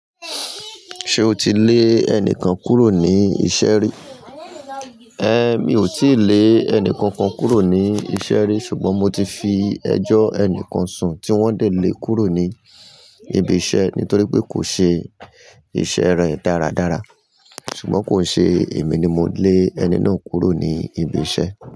Ṣé o ti lè ẹnìkan kúrò ní iṣẹ́ rí? Ẹ mi ò tíì lé ẹnìkankan kúrò ní iṣẹ́ rí ṣùgbọ́n mo ti fi ẹjọ́ ẹnìkan sùn tí wọ́n ń dè lé kúrò ní ibi iṣẹ́ nítorí pé kò ṣe iṣẹ́ rẹ̀ dáradára. Ṣùgbọ́n kò ṣe èmi ni mo lé ẹni náà kúrò ní ibi iṣẹ́